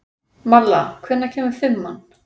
Malla, hvenær kemur fimman?